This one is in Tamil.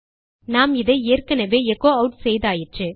நாம் இதை ஏற்கெனெவே எச்சோ ஆட் செய்தாயிற்று